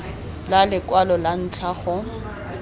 la lekwalo la ntlha go